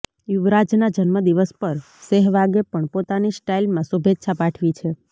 યુવરાજના જન્મદિવસ પર સેહવાગે પણ પોતાની સ્ટાઇલમાં શુભેચ્છા પાઠવી છે